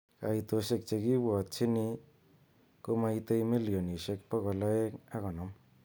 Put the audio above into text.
Kaitoshek chekibwotyin komaitei milionishek bokol aeng ak konom.